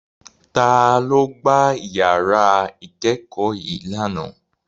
Ta ló gbá ìyàrá ìkẹ́kọ̀ọ́ yii lánàá.